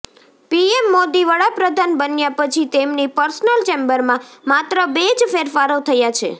PM Modi વડાપ્રધાન બન્યા પછી તેમની પર્સનલ ચેમ્બરમાં માત્ર બે જ ફેરફારો થયા છે